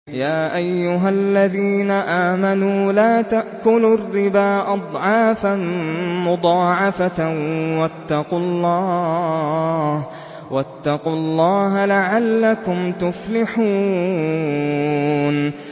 يَا أَيُّهَا الَّذِينَ آمَنُوا لَا تَأْكُلُوا الرِّبَا أَضْعَافًا مُّضَاعَفَةً ۖ وَاتَّقُوا اللَّهَ لَعَلَّكُمْ تُفْلِحُونَ